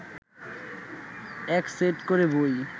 এক সেট করে বই